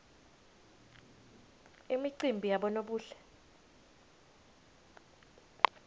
imicimbi yabonobuhle